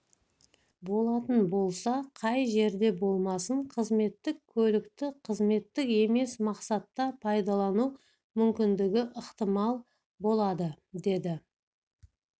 болатын болса қай жерде болмасын қызметтік көлікті қызметтік емес мақсатта пайдалану мүмкіндігі ықтимал болады деді